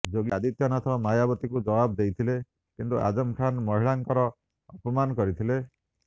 ଯୋଗୀ ଆଦିତ୍ୟନାଥ ମାୟାବତୀଙ୍କୁ ଜବାବ୍ ଦେଇଥିଲେ କିନ୍ତୁ ଆଜମ୍ ଖାନ୍ ମହିଳାଙ୍କର ଅପମାନ କରିଥିଲେ